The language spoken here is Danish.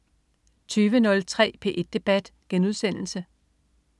20.03 P1 debat*